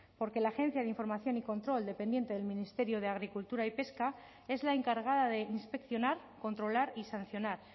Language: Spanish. porque la agencia de información y control dependiente del ministerio de agricultura y pesca es la encargada de inspeccionar controlar y sancionar